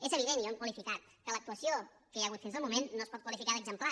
és evident i ho hem qualificat que l’actuació que hi ha hagut fins al moment no es pot qualificar d’exemplar